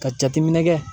Ka jateminɛ kɛ